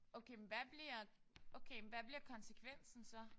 Okay med hvad bliver okay men hvad bliver konsekvensen så?